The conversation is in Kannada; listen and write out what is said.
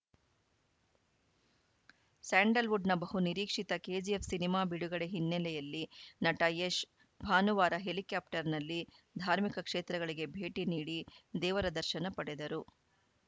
ಸ್ಯಾಂಡಲ್‌ವುಡ್‌ನ ಬಹುನಿರೀಕ್ಷಿತ ಕೆಜಿಎಫ್‌ ಸಿನಿಮಾ ಬಿಡುಗಡೆ ಹಿನ್ನೆಲೆಯಲ್ಲಿ ನಟ ಯಶ್‌ ಭಾನುವಾರ ಹೆಲಿಕಾಪ್ಟರ್‌ನಲ್ಲಿ ಧಾರ್ಮಿಕ ಕ್ಷೇತ್ರಗಳಿಗೆ ಭೇಟಿ ನೀಡಿ ದೇವರ ದರ್ಶನ ಪಡೆದರು